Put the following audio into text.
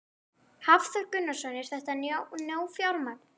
Hafþór Gunnarsson: Er þetta nóg fjármagn?